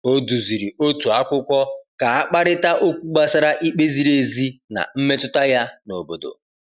O duziri otu akwụkwọ ka a kparịta okwu gbasara ikpe ziri ezi na mmetụta ya n’obodo.